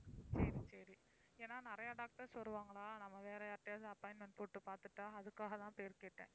சரி, சரி. ஏன்னா நிறைய doctors வருவாங்களா, நம்ம வேற யார்ட்டயாவது appointment போட்டு பார்த்துட்டா அதுக்காக தான் பேர் கேட்டேன்?